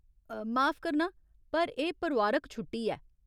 माफ करना, पर एह् परोआरक छुट्टी ऐ।